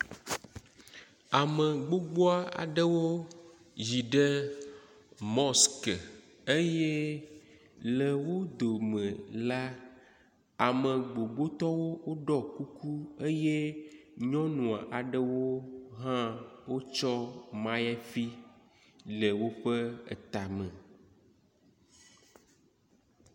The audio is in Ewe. Ame gbogbo aɖewo yi ɖe mɔsike eye le wo dome la, ame gbogbotɔwo ɖɔ kuku eye nyɔnu aɖewo hã wotsɔ maliyafi le woƒe etame.